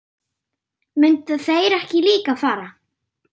Myndu þeir ekki líka fara?